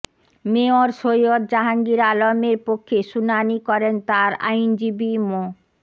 mayor Syed Jahangir আলমের পক্ষে শুনানি করেন তাঁর আইনজীবী মো